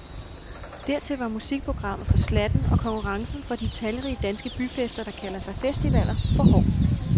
Dertil var musikprogrammet for slattent og konkurrencen fra de talrige danske byfester, der kalder sig festivaler, for hård.